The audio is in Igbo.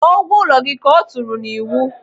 "Kwụọ ụgwọ ụlọ gị", ka ọ tụrụ n'iwu.